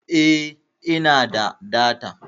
Eh, ina da data.